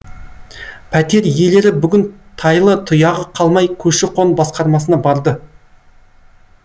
пәтер иелері бүгін тайлы тұяғы қалмай көші қон басқармасына барды